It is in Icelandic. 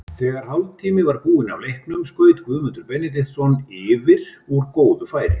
Þegar hálftími var búinn af leiknum skaut Guðmundur Benediktsson yfir úr góðu færi.